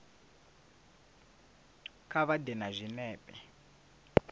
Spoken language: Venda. kha vha ḓe na zwinepe